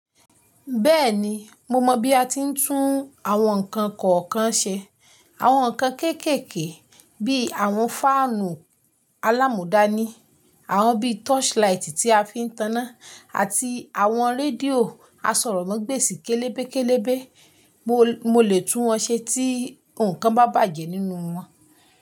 Bẹ́ẹ̀ni mo mọ bí a ti ń tún àwọn nǹkan kọ̀ọ̀kan ṣe. Àwọn nǹkan kéékèèké bíi àwọn fáànù alámudani, àwọn bíi torchlight tí a fi ń taná àti àwọn rédíò asọ̀rọ̀màgbèsì kélebé kélébé. Mo, mo lè tún wọn ṣe tí nǹkan bá bàjẹ́ nínú wọn.